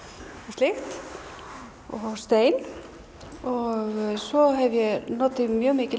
slíkt og stein og svo hef ég notað mjög mikið